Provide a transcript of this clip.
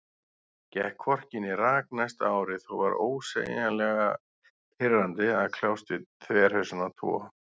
Gekk hvorki né rak næsta árið, og var ósegjanlega pirrandi að kljást við þverhausana tvo.